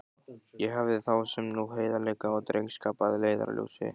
Ég hafði þá sem nú heiðarleika og drengskap að leiðarljósi.